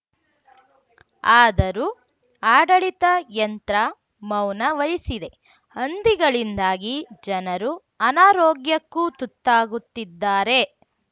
ಆದರೂ ಆಡಳಿತ ಯಂತ್ರ ಮೌನ ವಹಿಸಿದೆ ಹಂದಿಗಳಿಂದಾಗಿ ಜನರು ಅನಾರೋಗ್ಯಕ್ಕೂ ತುತ್ತಾಗುತ್ತಿದ್ದಾರೆ